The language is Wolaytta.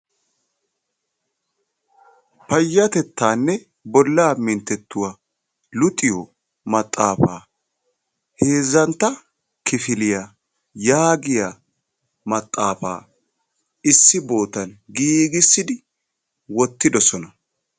payatettaanne bolaa mintettuwa luxiyo maxaafaa heezzantta kifiliya yaagiya maxaafaa issi bootan giigissidi wotidossona.